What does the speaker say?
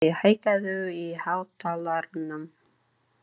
Fúsi, hækkaðu í hátalaranum.